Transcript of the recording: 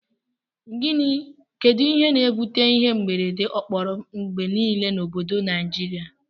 Kedu ihe na ebute ihe mberede okporo ngbe nile na obodo nigiria?